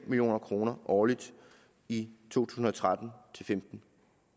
million kroner årligt i to tusind og tretten til femten